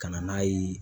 Ka na n'a ye